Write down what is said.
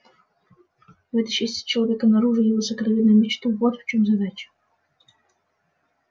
вытащить из человека наружу его сокровенную мечту вот в чём задача